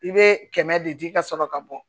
I bɛ kɛmɛ de di ka sɔrɔ ka bɔ